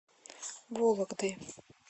вологдой